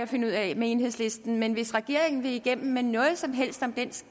finde ud af enhedslisten men hvis regeringen vil igennem med noget som helst om